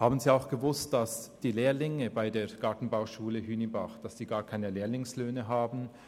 Haben Sie auch gewusst, dass die Lehrlinge der Gartenbauschule Hünibach gar keine Lehrlingslöhne erhalten?